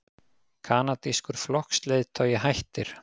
Kanadískur flokksleiðtogi hættir